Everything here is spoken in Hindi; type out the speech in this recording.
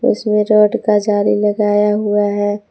इसमें रॉड का जाली लगाया हुआ है।